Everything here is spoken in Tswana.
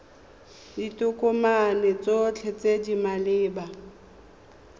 ditokomane tsotlhe tse di maleba